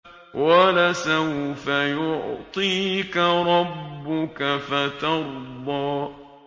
وَلَسَوْفَ يُعْطِيكَ رَبُّكَ فَتَرْضَىٰ